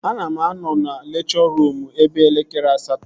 Aga m anọ na lekchọ ruum eve elekere asatọ